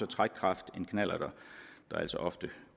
trækkraft end knallerter der altså ofte